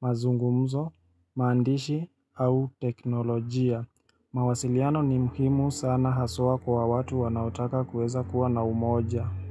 mazungumzo, maandishi au teknolojia. Mawasiliano ni muhimu sana haswa kwa watu wanaotaka kuweza kuwa na umoja.